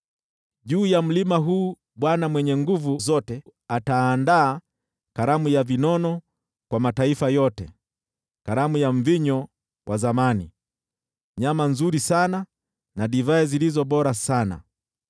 Juu ya mlima huu Bwana Mwenye Nguvu Zote ataandaa karamu ya vinono kwa mataifa yote, karamu ya mvinyo wa zamani, nyama nzuri sana na divai zilizo bora sana.